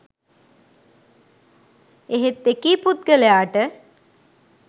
එහෙත් එකී පුද්ගලයාට